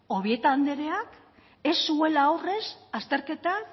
obieta andereak ez zuela aurrez azterketa